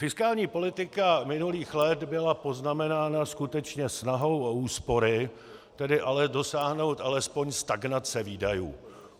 Fiskální politika minulých let byla poznamenána skutečně snahou o úspory, tedy ale dosáhnout alespoň stagnace výdajů.